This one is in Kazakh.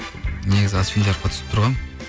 негізі асфендияровқа түсіп тұрғанмын